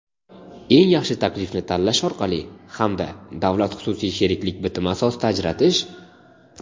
eng yaxshi taklifni tanlash orqali hamda davlat-xususiy sheriklik bitimi asosida ajratish;.